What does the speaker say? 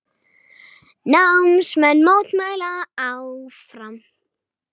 Námsmenn mótmæla áfram